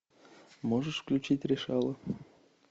можешь включить решала